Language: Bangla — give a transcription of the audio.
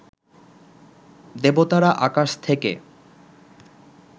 দেবতারা আকাশ থেকে